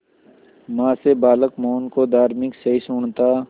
मां से बालक मोहन को धार्मिक सहिष्णुता